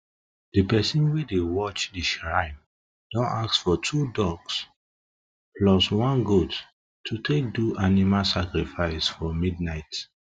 the person wey dey watch the shrine don ask of two ducks plus one goat to take do animal sacrifice for midnight